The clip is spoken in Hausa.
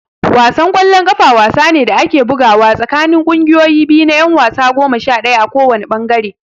Wasan ƙwallon ƙafa wasa ne da ake bugawa tsakanin ƙungiyoyi biyu na ƴan wasa goma sha ɗaya a kowanne ɓangare.